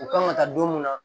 U kan ka taa don mun na